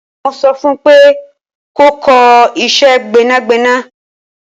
Mo so fun pe kò kọ ìṣe Gbẹ́nàgbẹ́nà